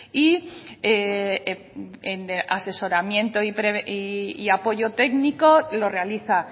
y en asesoramiento y apoyo técnico lo realiza